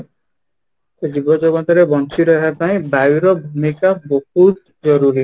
ତ ଜୀବ ଜଗତ ରେ ବଞ୍ଚି ରହିବା ପାଇଁ ବାୟୁ ର ଜିନିଷ ବହୁତ ଜରୁରୀ